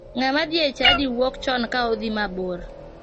Ng'ama dhi e chadi wuok chon ka odhi mabor.